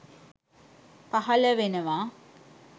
පහල වෙනවා